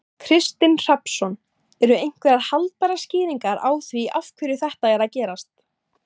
Kristinn Hrafnsson: Eru einhverjar haldbærar skýringar á því af hverju þetta er að gerast?